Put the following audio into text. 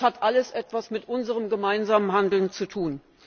Das hat alles etwas mit unserem gemeinsamen Handeln zu tun.